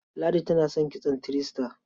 Ladi tana son kitson three star.